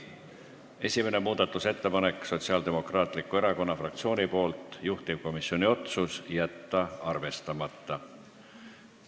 Esimene muudatusettepanek on Sotsiaaldemokraatliku Erakonna fraktsioonilt, juhtivkomisjoni otsus: jätta arvestamata.